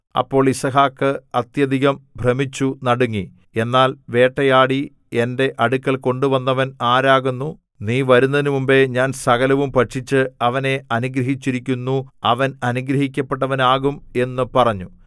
അപ്പോൾ യിസ്ഹാക്ക് അത്യധികം ഭ്രമിച്ചു നടുങ്ങി എന്നാൽ വേട്ടയാടി എന്റെ അടുക്കൽ കൊണ്ടുവന്നവൻ ആരാകുന്നു നീ വരുന്നതിനുമുമ്പെ ഞാൻ സകലവും ഭക്ഷിച്ച് അവനെ അനുഗ്രഹിച്ചിരിക്കുന്നു അവൻ അനുഗ്രഹിക്കപ്പെട്ടവനുമാകും എന്നു പറഞ്ഞു